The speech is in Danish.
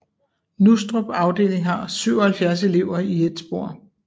Nustrup afdeling har 77 elever i ét spor